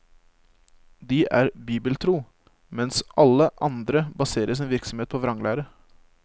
De er bibeltro, mens alle andre baserer sin virksomhet på vranglære.